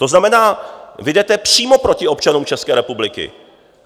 To znamená, vy jdete přímo proti občanům České republiky.